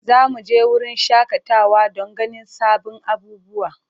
Za mu je wurin shakatawa don ganin sabbin abubuwa.